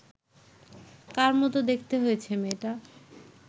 কার মতো দেখতে হয়েছে মেয়েটা